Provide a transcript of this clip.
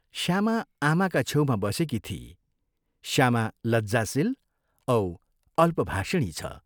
श्यामा आमाका छेउमा बसेकी थिई श्यामा लज्जाशील औ अल्पभाषिणी छ।